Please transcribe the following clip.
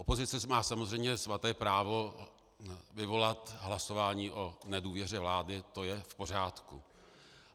Opozice má samozřejmě svaté právo vyvolat hlasování o nedůvěře vládě, to je v pořádku.